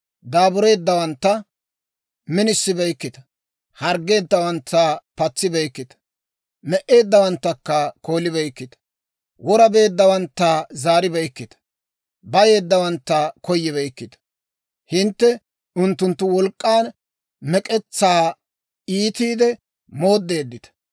Daabureeddawantta minisibeykkita; harggeeddawantta patsibeykkita; me"eeddawantta koolibeykkita; wora beeddawantta zaaribeykkita; bayeeddawantta koyibeykkita. Hintte unttuntta wolk'k'an mek'etsaa iitiide mooddeeddita.